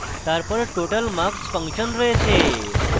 তারপর total _ marks function রয়েছে